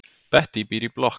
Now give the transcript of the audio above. Bettý býr í blokk.